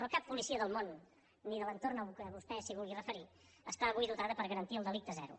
però cap policia del món ni de l’entorn al qual vostè es vulgui referir està avui dotada per garantir el delicte zero